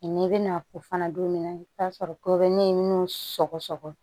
Nka n'i bɛna o fana don min na i bɛ t'a sɔrɔ kobɛri ɲinini sɔgɔsɔgɔ